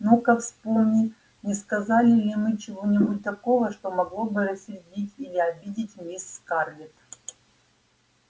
ну-ка вспомни не сказали ли мы чего-нибудь такого что могло бы рассердить или обидеть мисс скарлетт